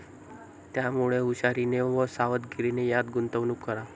त्यामुळे हुशारीने व सावधगीरीने यात गुंतवणूक करा.